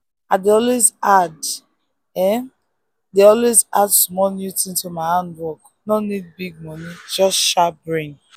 i dey always add dey always add small new thing to my handwork no need big money just sharp brain.